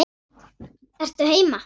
Ertu heima?